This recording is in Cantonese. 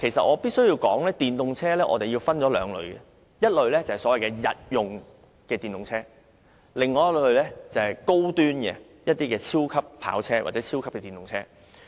我必須說明電動車分為兩類，第一類是所謂日用電動車，而第二類則是高端的超級跑車或超級電動車。